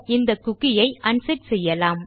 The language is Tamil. இந்தcookie ஐ அன்செட் செய்யலாம்